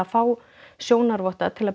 fá sjónarvotta til